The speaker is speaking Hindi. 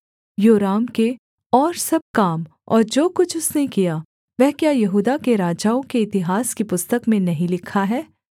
योराम के और सब काम और जो कुछ उसने किया वह क्या यहूदा के राजाओं के इतिहास की पुस्तक में नहीं लिखा है